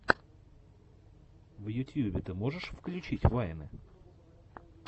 в ютьюбе ты можешь включить вайны